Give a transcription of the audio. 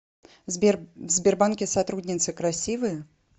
сбер в сбербанке сотрудницы красивые